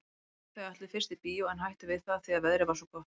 Þau ætluðu fyrst í bíó en hættu við það því að veðrið var svo gott.